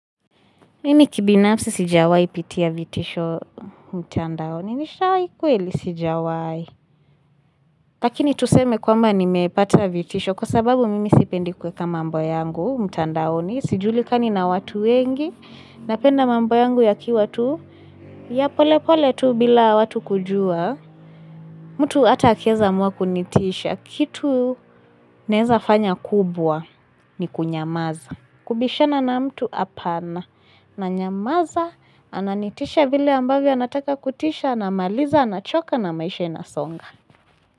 Mimi kibinafsi sijawaipitia vitisho mtandaoni. Nishawai kweli, sijawai. Lakini tuseme kwamba nimepata vitisho kwa sababu mimi sipendi kuweka mambo yangu mtandaoni. Sijulikani na watu wengi. Napenda mambo yangu yakiwa tu. Ya pole pole tu bila watu kujua. Mtu ata akieza amua kunitisha. Kitu naeza fanya kubwa ni kunyamaza. Kubishana na mtu apana nanyamaza ananitisha vile ambavyo anataka kutisha anamaliza anachoka na maisha inasonga.